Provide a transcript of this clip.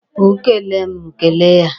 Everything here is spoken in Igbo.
O kele m, m kele ya.